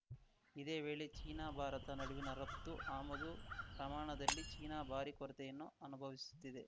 ಇದೇ ವೇಳೆ ಚೀನಾಭಾರತ ನಡುವಿನ ರಫ್ತು ಆಮದು ಪ್ರಮಾಣದಲ್ಲಿ ಚೀನಾ ಭಾರಿ ಕೊರತೆಯನ್ನು ಅನುಭವಿಸುತ್ತಿದೆ